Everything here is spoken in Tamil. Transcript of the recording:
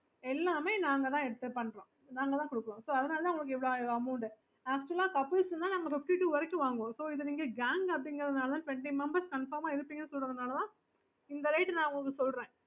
okay mamokayokayyes mam yes